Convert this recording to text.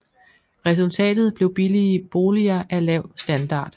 Resultatet blev billige boliger af lav standard